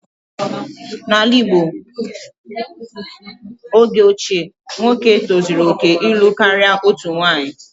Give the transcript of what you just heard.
N'ala Igbo oge ochie, nwoke tozuru oke ịlụ karịa otu nwunye